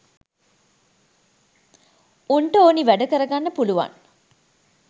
උන්ට ඕනි වැඩ කරගන්න පුළුවන්.